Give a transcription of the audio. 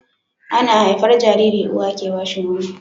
Ana haifar Jariri uwa ke bashi Nono